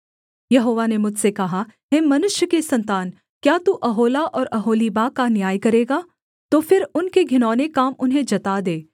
यहोवा ने मुझसे कहा हे मनुष्य के सन्तान क्या तू ओहोला और ओहोलीबा का न्याय करेगा तो फिर उनके घिनौने काम उन्हें जता दे